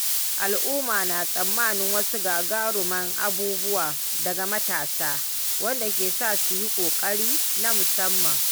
Al’umma na tsammanin wasu gagaruman abubuwa daga matasa, wanda ke sa su yi ƙoƙari na musamman.